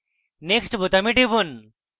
next বোতামে টিপুন